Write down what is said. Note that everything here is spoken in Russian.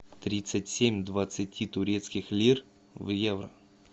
тридцать семь двадцати турецких лир в евро